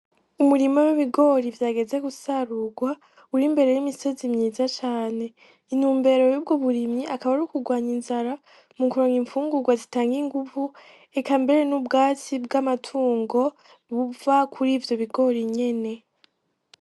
Umurima w'ibigori vyageze gusarurwa uri imbere y'imisozi myiza cane, intumbero yubwo burimyi akaba ari ukugwanya inzara mu kuronka infungurwa zitanga inguvu eka mbere n'ubwatsi bw'amatungo buba kuri ivyo bigori nyene.